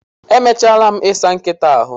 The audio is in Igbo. Emechaala m i saa nkịta ahụ